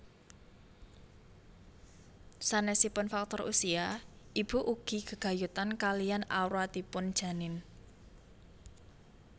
Sanésipun faktor usia ibu ugi gegayutan kaliyan awratipun janin